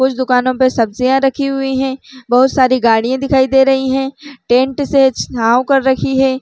कुछ दुकानों पे सब्जिया रखी हुई हे बहुत सारी गाड़िया दिखाई दे रही हे टेंट से छाँव कर रखी हे।